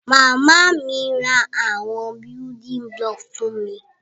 Màmá mi ra àwon building block fun mi